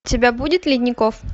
у тебя будет ледников